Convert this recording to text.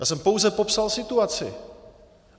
Jenom jsem pouze popsal situaci.